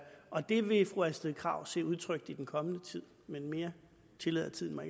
og det vil fru astrid krag se udtrykt i den kommende tid men mere tillader tiden mig